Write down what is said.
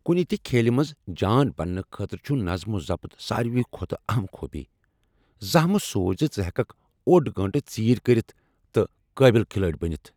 کنہ تہ کھیلہ منز جان بننہٕ خٲطرٕ چھ نظم و ضبط ساروی کھوتہٕ اہم خوبی۔ زانٛہہ مہ سوچ زِ ژٕ ہیککھ اوٚڈ گٲنٹہٕ ژیر کرِتھ تہِ قابل کھلٲڑۍ بنتھ۔